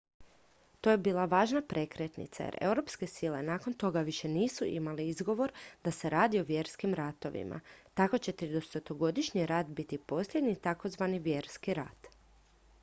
to je bila važna prekretnica jer europske sile nakon toga više nisu imale izgovor da se radi o vjerskim ratovima tako će tridesetogodišnji rat biti posljednji takozvani vjerski rat